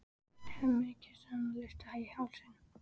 Hemmi kyssir hana laust á hálsinn.